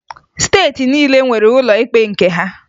Steeti niile nwere ụlọ ikpe nke ha